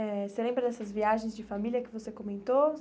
Eh e você lembra dessas viagens de família que você comentou?